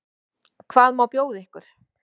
Hvað má bjóða ykkur?